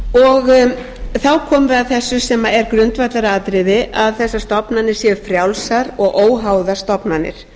þá komum við að þessu sem er grundvallaratriði að þessar stofnanir séu frjálsar og óháðar stofnanir